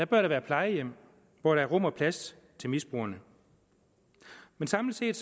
bør der være plejehjem hvor der er rum og plads til misbrugerne men samlet set